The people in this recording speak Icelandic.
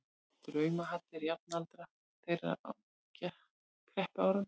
draumahallir jafnaldra þeirra á kreppuárunum.